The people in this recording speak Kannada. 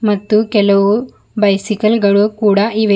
ಮತ್ತು ಕೆಲವು ಬೈಸಿಕಲ್ ಗಳು ಕೂಡ ಇವೆ.